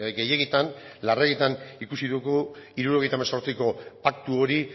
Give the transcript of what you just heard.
gehiegitan larregitan ikusi dugu hirurogeita hemezortziko paktu hori